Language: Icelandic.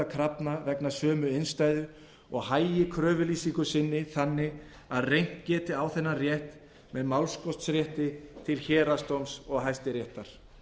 krafna vegna sömu innstæðu og hagi kröfulýsingu sinni þannig að reynt geti á þennan rétt með málskotsrétti til héraðsdóms og hæstaréttar